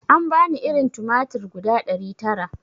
An bani irin tumatir guda ɗari tara